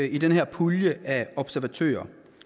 i den her pulje af observatører